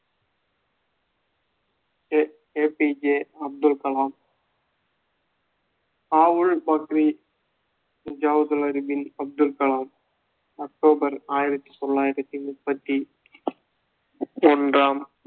a~ A P J Abdul Kalam Avul Pakir Jainulabdeen Abdul Kalam October ஆயிரத்தி தொள்ளாயிரத்தி முப்பத்தி ஒன்றாம்